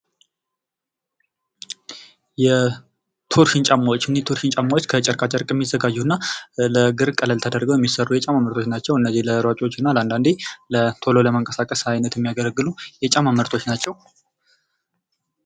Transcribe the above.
የቶርሽን ጫማዎች እኚህ የቶርሽን ጫማዎች ከጨርቃጨርቅ የሚዘጋጁ እና ለእግር ቀለል ተደርገው የሚሰሩ የጫማ ምርቶች ናቸው:: እነዚህ ለሯጮች እና አንዳንዴ ቶሎ ለመንቀሳቀስ አይነት የሚያገለጉ የጫማ ምርቶች ናቸው::